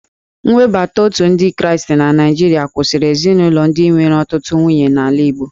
Nwebata Otu ndị Kraịstị na Naijiria kwụsịrị ezinaụlọ ndị nwere ọtụtụ nwunye n'ala Igbo